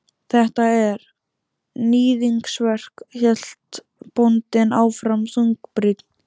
Þetta er. níðingsverk, hélt bóndinn áfram þungbrýnn.